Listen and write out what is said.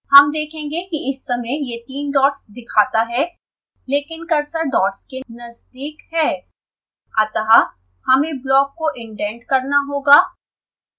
हम देखेंगे कि इस समय यह तीन डॉट्स दिखाता है लेकिन कर्सर डॉट्स के नजदीक है अतः हमें ब्लॉक को इंडेंट करना होगा